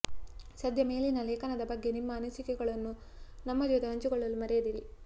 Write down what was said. ಸದ್ಯ ಮೇಲಿನ ಲೇಖನದ ಬಗ್ಗೆ ನಿಮ್ಮ ಅನಿಸಿಕೆಗಳನ್ನು ನಮ್ಮ ಜೊತೆ ಹಂಚಿಕೊಳ್ಳಲು ಮರೆಯದಿರಿ